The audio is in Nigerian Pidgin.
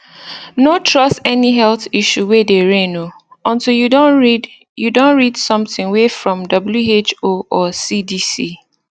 no trust any health issue way dey reign o untill you don read you don read something way from who or cdc